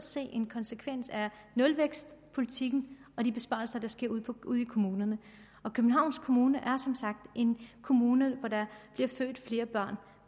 se en konsekvens af nulvækstpolitikken og de besparelser der sker ude ude i kommunerne og københavns kommune er som sagt en kommune hvor der bliver født flere